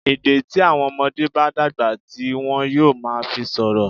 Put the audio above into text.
Èdè tí àwọn ọmọdé bá dàgbà ti wọn yóò máa fi sọ̀rọ̀.